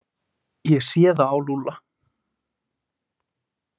Ég sé það á Lúlla.